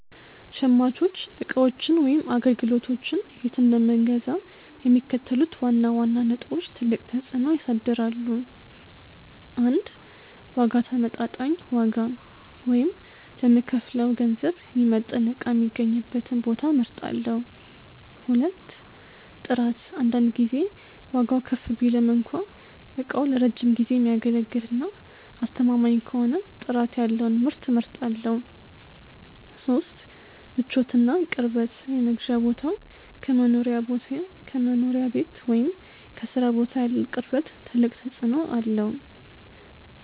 .ሸማቾች ዕቃዎችን ወይም አገልግሎቶችን የት እንደምገዛ የሚከተሉት ዋና ዋና ነጥቦች ትልቅ ተፅዕኖ ያሳድራሉ፦ 1. ዋጋ ተመጣጣኝ ዋጋ፣ ወይም ለምከፍለው ገንዘብ የሚመጥን ዕቃ የሚገኝበትን ቦታ እመርጣለሁ። 2. ጥራት አንዳንድ ጊዜ ዋጋው ከፍ ቢልም እንኳ ዕቃው ለረጅም ጊዜ የሚያገለግልና አስተማማኝ ከሆነ ጥራት ያለውን ምርት እመርጣለሁ። 3. ምቾትና ቅርበት የመግዣ ቦታው ከመኖሪያ ቤት ወይም ከሥራ ቦታ ያለው ቅርበት ትልቅ ተፅዕኖ አለው።